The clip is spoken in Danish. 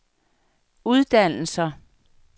uddannelser